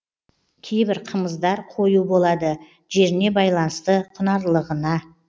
кейбір қымыздар қою болады жеріне байланысты құнарлығына